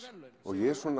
ég